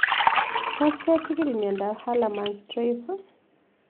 Tos kechigil miondop Hallerman Streiff